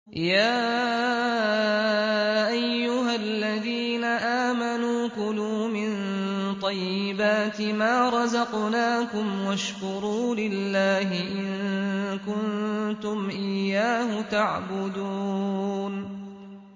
يَا أَيُّهَا الَّذِينَ آمَنُوا كُلُوا مِن طَيِّبَاتِ مَا رَزَقْنَاكُمْ وَاشْكُرُوا لِلَّهِ إِن كُنتُمْ إِيَّاهُ تَعْبُدُونَ